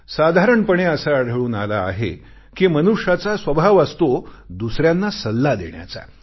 साधारणपणे असे आढळून आले आहे कि मनुष्याचा स्वभाव असतो दुसऱ्यांना सल्ला देण्याचा